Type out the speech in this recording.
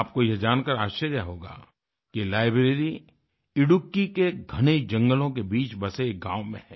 आपको यह जानकर आश्चर्य होगा कि ये लाइब्रेरी इडुक्कीIdukki के घने जंगलों के बीच बसे एक गाँव में है